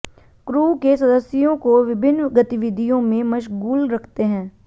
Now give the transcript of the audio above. crew के सदस्यों को विभिन्न गतिविधियों में मशगूल रखते हैं